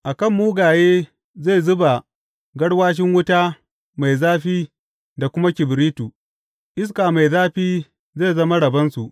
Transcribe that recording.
A kan mugaye zai zuba garwashin wuta mai zafi da kuma kibiritu; iska mai zafi zai zama rabonsu.